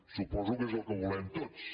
suposo que és el que volem tots